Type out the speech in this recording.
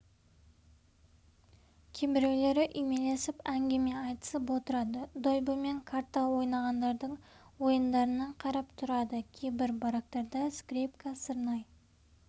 кейбіреулері үймелесіп әңгіме айтысып отырады дойбы мен карта ойнағандардың ойындарына қарап тұрады кейбір барактарда скрипка сырнай